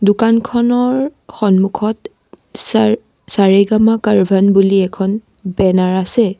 দোকানখনৰ সন্মুখত চাৰ চা ৰে গা মা বুলি এখন বেনাৰ আছে।